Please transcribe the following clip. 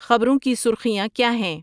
خبروں کی سرخیاں کیا ہیں